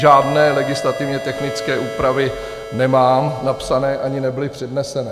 Žádné legislativně technické úpravy nemám napsané ani nebyly přednesené.